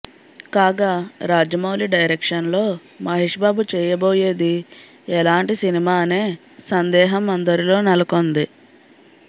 కాగా రాజమౌళి డైరెక్షన్లో మహేష్ బాబు చేయబోయేది ఎలాంటి సినిమా అనే సందేహం అందరిలో నెలకొంది